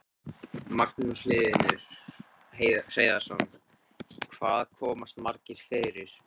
Magnús Hlynur Hreiðarsson: Hvað komast margir fyrir?